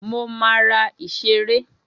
Mo máa ra ìṣeré.